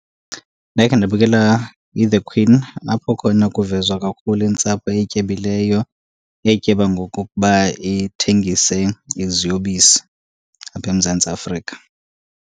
Ndakhe ndabukela iThe Queen, apho khona kuvezwa kakhulu intsapho etyebileyo etyeba ngokokuba ithengise iziyobisi apha eMzantsi Afrika.